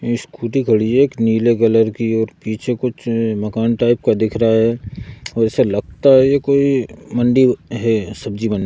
scooty खड़ी है एक नीले कलर की और पीछे कुछ मकान टाइप का दिख रहा है और ऐसा लगता है ये कोई मंडी है सब्ज़ी मंडी --